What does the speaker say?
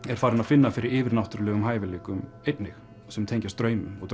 er farin að finna fyrir yfirnáttúrulegum hæfileikum sem tengjast draumum og